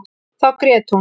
Þá grét hún.